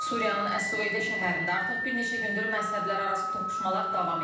Suriyanın Əs-Süveydə şəhərində artıq bir neçə gündür məzhəblərarası toqquşmalar davam edir.